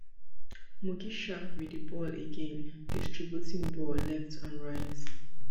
mugisha wit di ball again distributing ball left and right